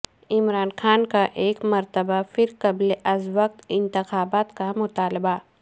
عمران خان کا ایک مرتبہ پھر قبل از وقت انتخابات کا مطالبہ